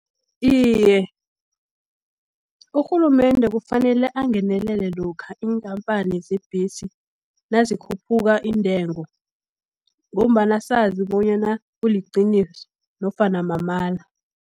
Iye, urhulumende kufanele angenelele lokha iinkampani zembhesi, nazikhuphuka iintengo, ngombana sazi bonyana kuliqiniso, nofana mamala.